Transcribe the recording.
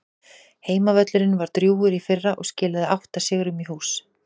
Heimavöllurinn var drjúgur í fyrra og skilaði átta sigrum í hús.